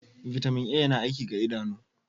Vitamin A yana aiki ga idanu.